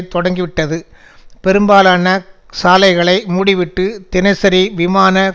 தொடங்கிவிட்டது பெரும்பாலான சாலைகளை மூடிவிட்டு தினசரி விமான